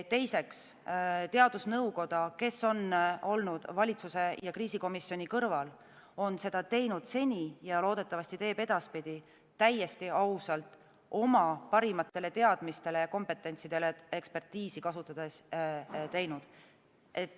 Teiseks, teadusnõukoda, kes on olnud valitsuse ja kriisikomisjoni kõrval, on seda teinud seni ja loodetavasti teeb ka edaspidi täiesti ausalt, tuginedes oma parimatele teadmistele, kompetentsidele ja ekspertiisile.